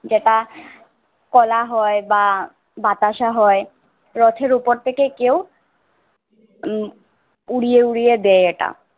যেটা কলা হয় বা বাতাসা হয়। রথের উপর থেকে কেউ উম উড়িয়ে উড়িয়ে দেয় এটা।